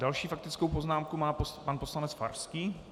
Další faktickou poznámku má pan poslanec Farský.